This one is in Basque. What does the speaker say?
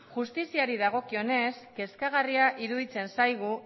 justiziari dagokionez kezkagarria iruditzen zaigu